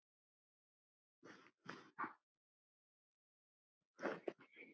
Lesarar á öllum aldri.